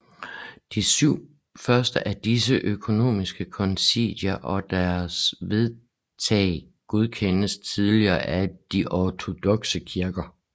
De syv første af disse økumeniske konciler og deres vedtag godkendes tillige af de ortodokse kirker